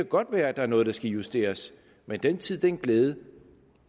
godt være der er noget der skal justeres men den tid den glæde